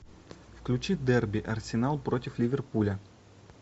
включи дерби арсенал против ливерпуля